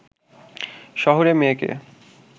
শহুরে মেয়েকে